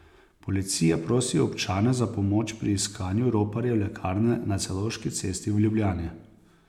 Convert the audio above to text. Policija prosi občane za pomoč pri iskanju roparjev lekarne na Celovški cesti v Ljubljani.